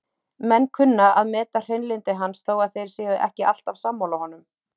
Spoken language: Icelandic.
Menn kunna að meta hrein- lyndi hans þó að þeir séu ekki alltaf sammála honum.